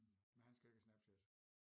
Men han skal jo ikke have Snapchat